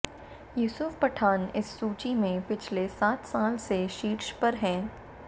यूसुफ पठान इस सूची में पिछले सात साल से शीर्ष पर हैं